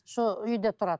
сол үйде тұрады